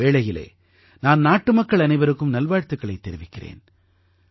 இந்த வேளையிலே நான் நாட்டுமக்கள் அனைவருக்கும் நல்வாழ்த்துக்களைத் தெரிவிக்கிறேன்